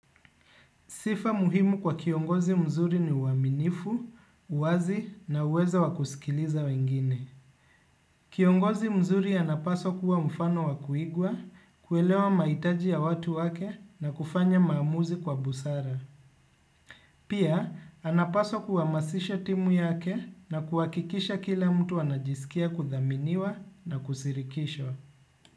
Sifa muhimu kwa kiongozi mzuri ni uaminifu, uwazi na uwezo wakusikiliza wengine. Kiongozi mzuri anapaswa kuwa mfano wakuigwa, kuelewa maitaji ya watu wake na kufanya maamuzi kwa busara. Pia, anapaswa kuhamasisha timu yake na kuwakikisha kila mtu anajisikia kuthaminiwa na kushirikishwa.